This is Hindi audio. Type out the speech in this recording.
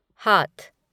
हाथ